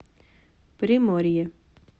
приморье